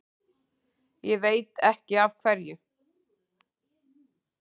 Ég veit ekki af hverju.